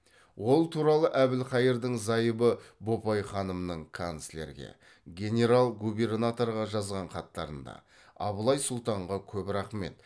ол туралы әбілқайырдың зайыбы бопай ханымның канцлерге генерал губернаторға жазған хаттарында абылай сұлтанға көп рахмет